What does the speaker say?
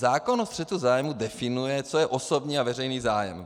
Zákon o střetu zájmů definuje, co je osobní a veřejný zájem.